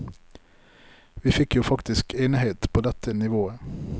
Vi fikk jo faktisk enighet på dette nivået.